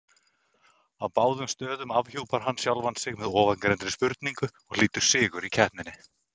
Á báðum stöðum afhjúpar hann sjálfan sig með ofangreindri spurningu og hlýtur sigur í keppninni.